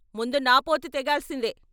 ముందు నా పోతు తేగాల్సిందే!